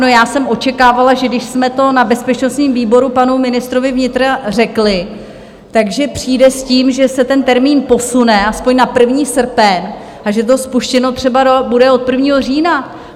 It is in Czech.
No, já jsem očekávala, že když jsme to na bezpečnostním výboru panu ministrovi vnitra řekli, že přijde s tím, že se ten termín posune aspoň na 1. srpen a že to spuštěno třeba bude od 1. října.